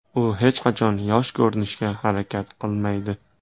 U hech qachon yosh ko‘rinishga harakat qilmaydi.